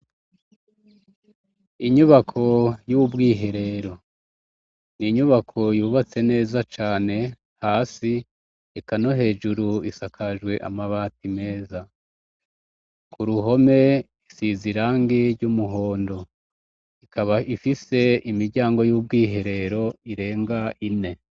Inyubako y'ubwiherero. Inyubako yubatse neza cane hasi eka no hejuru isakajwe amabati meza. Ku ruhome isize irangi ry'umuhondo. Ikaba ifise imiryango y'ubwiherero irenga ine.